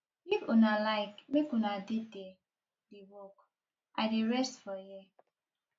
if una like make una dey there dey work i dey rest for here